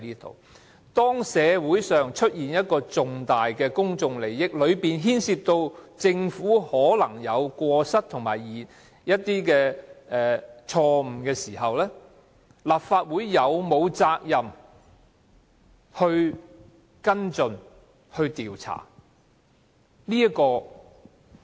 當社會上出現涉及重大公眾利益的事件，而當中可能牽涉政府有過失和犯錯的時候，立法會是否有責任跟進和調查？